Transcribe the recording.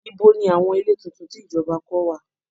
Ibo ni àwọn ilé tuntun tí ìjọba kọ́ wà?